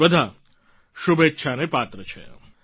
તે બધા શુભેચ્છાને પાત્ર છે